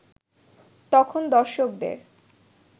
তখন দর্শকদের